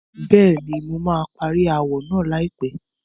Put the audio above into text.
Bẹ́ẹ̀ni, mo máa parí ááwọ̀ náà láìpẹ́.